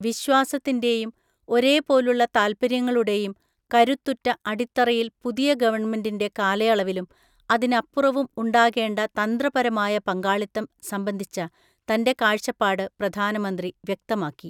വിശ്വാസത്തിൻ്റെയും ഒരേ പോലുള്ള താല്പര്യങ്ങളുടെയും കരുത്തുറ്റ അടിത്തറയിൽ പുതിയ ഗവണ്മെന്റിൻ്റെ കാലയളവിലും അതിനപ്പുറവും ഉണ്ടാകേണ്ട തന്ത്രപരമായ പങ്കാളിത്തം സംബന്ധിച്ച തന്റെ കാഴ്ചപ്പാട് പ്രധാനമന്ത്രി വ്യക്തമാക്കി.